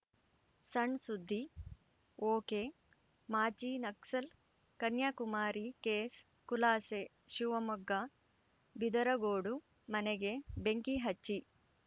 ಸಣ್‌ಸುದ್ದಿ ಒಕೆಮಾಜಿ ನಕ್ಸಲ್‌ ಕನ್ಯಾಕುಮಾರಿ ಕೇಸ್‌ ಖುಲಾಸೆ ಶಿವಮೊಗ್ಗ ಬಿದರಗೋಡು ಮನೆಗೆ ಬೆಂಕಿ ಹಚ್ಚಿ